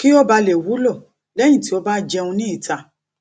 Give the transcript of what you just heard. kí ó bà lè wúlò lẹyìn tí ó bá jeun ní ìta